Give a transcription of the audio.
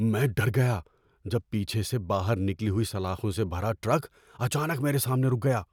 میں ڈر گیا جب پیچھے سے باہر نکلی ہوئی سلاخوں سے بھرا ٹرک اچانک میرے سامنے رک گیا۔